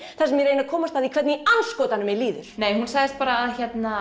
þar sem ég reyni að komast að því hvernig í andskotanum mér líður nei hún sagði bara